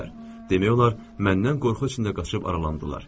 Demək olar, məndən qorxu içində qaçıb aralandılar.